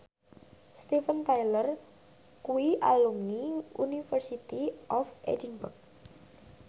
Steven Tyler kuwi alumni University of Edinburgh